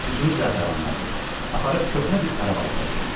Üzünü zəfəranladı, aparıb köhnə bir xarabalığa qoydu.